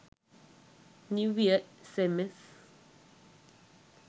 new year sms